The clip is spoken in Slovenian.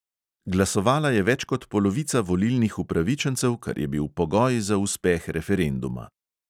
Glasovala je več kot polovica volilnih upravičencev, kar je bil pogoj za uspeh referenduma.